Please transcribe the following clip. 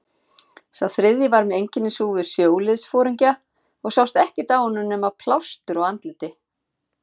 Sá þriðji var með einkennishúfu sjóliðsforingja og sást ekkert á honum nema plástur á andliti.